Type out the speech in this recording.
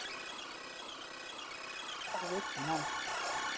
Og viti menn.